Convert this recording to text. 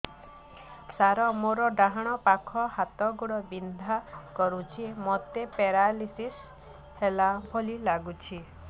ସାର ମୋର ଡାହାଣ ପାଖ ହାତ ଗୋଡ଼ ବିନ୍ଧା କରୁଛି ମୋତେ ପେରାଲିଶିଶ ହେଲା ଭଳି ଲାଗୁଛି